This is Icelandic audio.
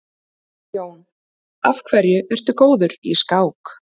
Jón: Af hverju ertu góður í skák?